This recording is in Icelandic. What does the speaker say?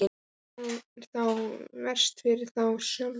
Það er þá verst fyrir þá sjálfa.